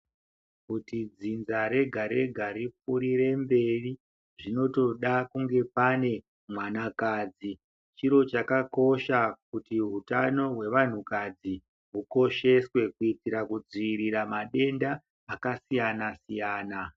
Kuti dzinza rega-rega ripfuurire mberi zvinotoda kunge pane mwanakadzi. Chiro chakakosha kuti hutano hwevanhukadzi hukosheswe kuitira kudziwirira matenda akasiyana-siyana.